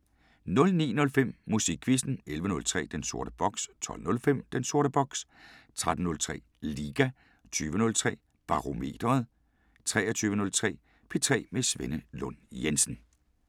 09:05: Musikquizzen 11:03: Den sorte boks 12:05: Den sorte boks 13:03: Liga 20:03: Barometeret 23:03: P3 med Svenne Lund Jensen